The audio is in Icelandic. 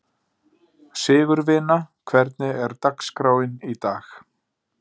Sigurvina, hvernig er dagskráin í dag?